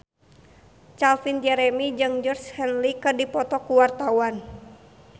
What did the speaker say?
Calvin Jeremy jeung Georgie Henley keur dipoto ku wartawan